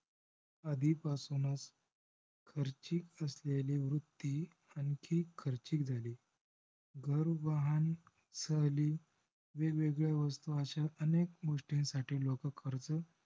आधी पासूनच खर्चीक असलेली वृत्ती आणखी खर्चीक झाली. घर, वाहन, सहली वेग वेगळ्या वस्तु अश्या अनेक गोस्टीसाठी लोक कर्ज